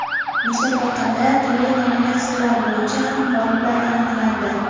Musobaqada turli nominatsiyalar bo‘yicha ham g‘oliblar aniqlandi.